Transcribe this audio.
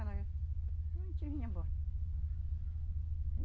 não a gente vinha embora.